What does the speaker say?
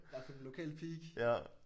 Hvert fald et lokalt peak